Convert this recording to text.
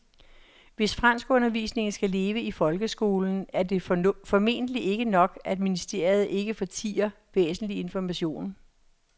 Hvis franskundervisningen skal leve i folkeskolen er det formentlig ikke nok, at ministeriet ikke fortier væsentlig information.